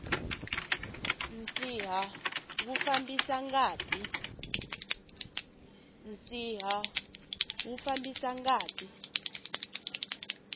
nsiha wu fambisa ngati